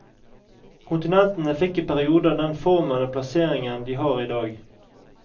Kontinentene fikk i perioden den formen og plassering de har i dag.